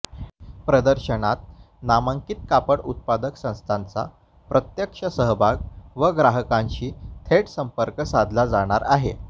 प्रदर्शनात नामांकित कापड उत्पादक संस्थांचा प्रत्यक्ष सहभाग व ग्राहकांशी थेट संपर्क साधला जाणार आहे